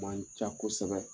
Man ca kosɛbɛ.